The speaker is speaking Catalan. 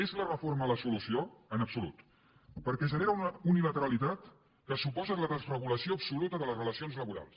és la reforma la solució en absolut perquè genera una unilateralitat que suposa la desregulació absoluta de les relacions laborals